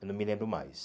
Eu não me lembro mais.